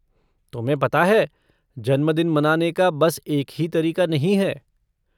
तुम्हें पता है जन्मदिन मनाने का बस एक ही तरीक़ा नहीं है।